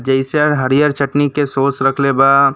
हरियर चटनी के सॉस रखले बा।